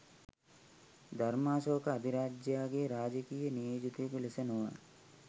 ධර්මාශෝක අධිරාජයාගේ රාජකීය නියෝජිතයකු ලෙස නොව